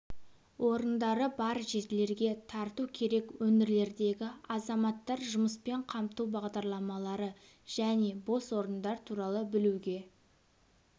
орындары бар жерлерге тарту керек өңірлердегі азаматтар жұмыспен қамту бағдарламалары және бос орындар туралы білуге